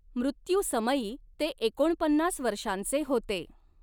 मृत्यूसमयी ते एकोणपन्नास वर्षांचे होते.